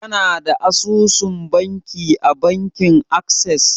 Kana da asusun banki a bankin Ases?